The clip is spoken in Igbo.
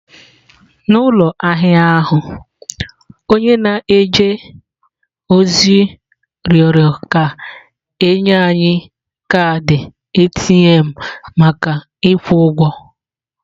N'ụlọ ahịa ahụ, onye na-eje ozi rịọrọ ka e nye anyị kaadị ATM maka ịkwụ ụgwọ.